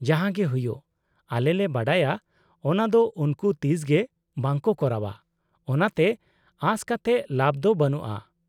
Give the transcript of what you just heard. -ᱡᱟᱦᱟᱸᱜᱮ ᱦᱩᱭᱩᱜ, ᱟᱞᱮᱞᱮ ᱵᱟᱰᱟᱭᱟ ᱚᱱᱟ ᱫᱚ ᱩᱱᱠᱩ ᱛᱤᱥᱜᱮ ᱵᱟᱝᱠᱚ ᱠᱚᱨᱟᱣᱼᱟ, ᱚᱱᱟᱛᱮ ᱟᱥ ᱠᱟᱛᱮᱫ ᱞᱟᱵᱷ ᱫᱚ ᱵᱟᱹᱱᱩᱜᱼᱟ ᱾